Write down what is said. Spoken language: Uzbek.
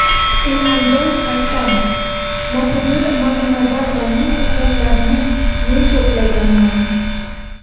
Ilhomjon Aktamov va Mohigul Maxmanazarovalarning hujjatlarini men to‘plaganman.